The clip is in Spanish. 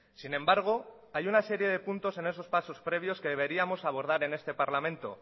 sin embargo hay una serie de puntos en esos pasos previos que deberíamos abordar en este parlamento